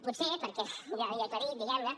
potser perquè ja li he aclarit diguem ne